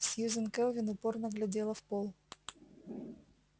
сьюзен кэлвин упорно глядела в пол